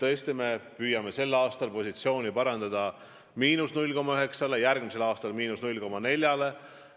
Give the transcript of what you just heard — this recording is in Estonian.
Sel aastal me püüame tõesti positsiooni parandada ja saavutada –0,9%, järgmisel aastal –0,4%.